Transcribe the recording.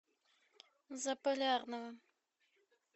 заполярного